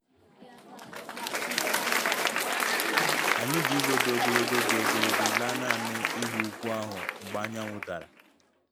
Anyị ji ụzọ dị ogologo dị ogologo laa nanị ịhụ ugwu ahụ mgbe anyanwụ dara